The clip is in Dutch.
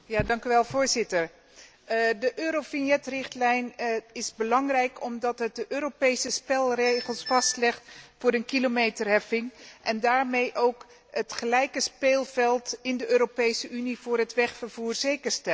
Voorzitter, de Eurovignetrichtlijn is belangrijk omdat ze de Europese spelregels vastlegt voor een kilometerheffing en daarmee ook het gelijke speelveld in de Europese Unie voor het wegvervoer zeker stelt.